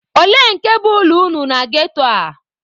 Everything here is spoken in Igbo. Olee nke bụ ụlọ unu na ghetto a?